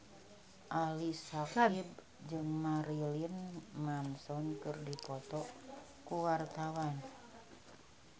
Ali Syakieb jeung Marilyn Manson keur dipoto ku wartawan